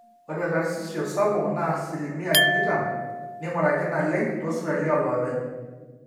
ore karsisisho sapuk naa asilimia tikitam neing'uraki naleng toosipitalini ooloopeny